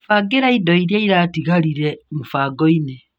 Bangĩra indo iria iratigarire mũbango-ini.